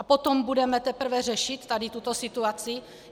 A potom budeme teprve řešit tady tuto situaci?